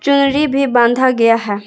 चुनरी भी बांधा गया है।